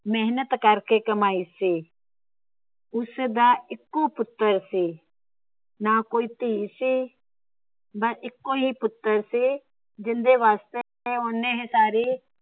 ਮੇਹਨਤ ਕਰਕੇ ਕਮਾਈ ਸੀ। ਉਸਦਾ ਇੱਕੋ ਪੁੱਤਰ ਸੀ। ਨਾ ਕੋਈ ਧੀ ਸੀ ਬੱਸ ਇੱਕੋ ਹੀ ਪੁੱਤਰ ਸੀ। ਜਿੰਦੇ ਵਾਸਤੇ ਉਹਨੇ ਇਹ ਸਾਰੀ